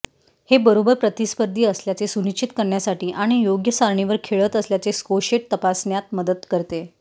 हे बरोबर प्रतिस्पर्धी असल्याचे सुनिश्चित करण्यासाठी आणि योग्य सारणीवर खेळत असल्याचे स्कोशेट तपासण्यात मदत करते